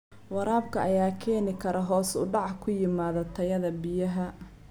Waraabka ayaa keeni kara hoos u dhac ku yimaada tayada biyaha.